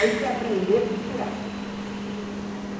Aí fui aprender a costurar.